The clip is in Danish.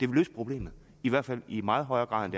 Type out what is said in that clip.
løse problemet i hvert fald i meget højere grad end